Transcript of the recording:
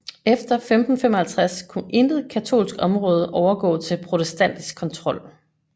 Efter 1555 kunne intet katolsk område overgå til protestantisk kontrol